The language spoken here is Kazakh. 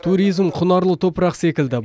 туризм құнарлы топырақ секілді